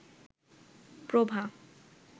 প্রভা